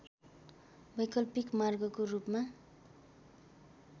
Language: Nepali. वैकल्पिक मार्गको रूपमा